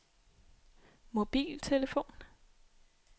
mobiltelefon